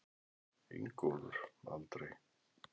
Ingólfur: Aldrei?